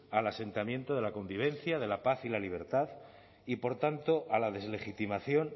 al asentamiento de la convivencia de la paz y la libertad y por tanto a la deslegitimación